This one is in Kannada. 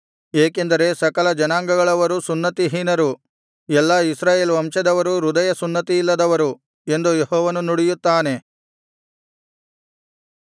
ಏಕೆಂದರೆ ಸಕಲ ಜನಾಂಗಗಳವರೂ ಸುನ್ನತಿಹೀನರು ಎಲ್ಲಾ ಇಸ್ರಾಯೇಲ್ ವಂಶದವರೂ ಹೃದಯ ಸುನ್ನತಿಯಿಲ್ಲದವರು ಎಂದು ಯೆಹೋವನು ನುಡಿಯುತ್ತಾನೆ